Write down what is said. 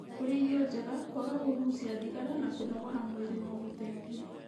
Kũrĩa irio njega, kwaga kũgucia thigara na kũnogora mwĩrĩ no gũteithie.